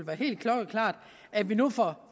helt klokkeklart at vi nu får